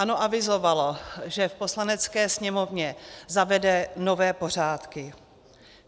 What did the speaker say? ANO avizovalo, že v Poslanecké sněmovně zavede nové pořádky.